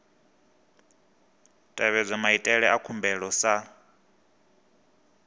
tevhedzwa maitele a khumbelo sa